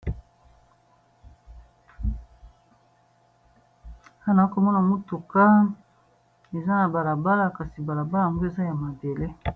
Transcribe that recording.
Awa nakomona mutuka eza na bala bala kasi bala bala yango eza ya mabele